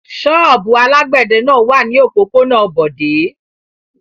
Ṣọ́ọ́bù alágbẹ̀dẹ náà wà ní òpópónà Bọ̀dé.